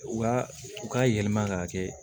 U ka u ka yɛlɛma k'a kɛ